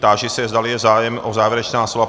Táži se, zdali je zájem o závěrečná slova.